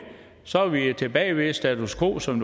så er vi tilbage ved status quo som